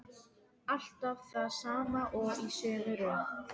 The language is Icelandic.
Alltaf það sama og í sömu röð.